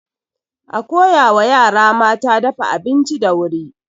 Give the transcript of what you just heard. A koya wa yara mata dafa abinci da wuri.